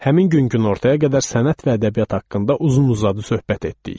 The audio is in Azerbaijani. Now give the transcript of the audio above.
Həmin gün günortaya qədər sənət və ədəbiyyat haqqında uzun-uzadı söhbət etdik.